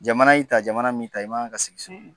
Jamana y'i ta jamana mi ta i ma ka sigi so